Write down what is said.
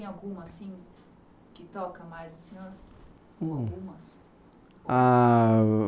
É, mas tem alguma, assim, que toca mais o senhor? Algumas? Ah...